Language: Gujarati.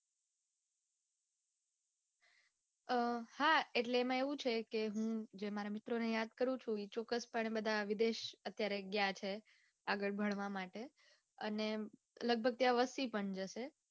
અઅઅ હા એટલે એમાં એવું છે કે હું જે મારા મિત્રોને યાદ કરું છું એ ચોક્કસ પણે બધા વિદેશ અત્યારે ગયા છે આગળ ભણવા માટે અને લઘભગ ત્યાં વસ્તી પણ જશે.